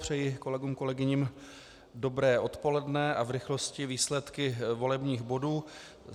Přeji kolegům, kolegyním dobré odpoledne a v rychlosti výsledky volebních bodů.